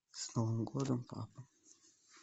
с новым годом папа